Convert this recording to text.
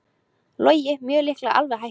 Logi mjög líklega alveg hættur